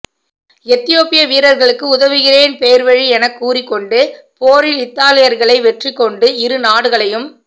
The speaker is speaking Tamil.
எதியோப்பிய வீரர்களுக்கு உதவுகிறேன் பேர்வழி எனக்கூறிக் கொண்டு போரில் இத்தாலியர்களை வெற்றிகொண்டு இரு நாடுகளையும்